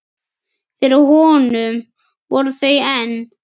Fyrir honum voru þau enn